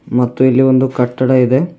ಮತ್ತು ಇಲ್ಲಿ ಒಂದು ಕಟ್ಟಡ ಇದೆ.